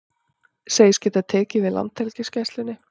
Segjast geta tekið við Landhelgisgæslunni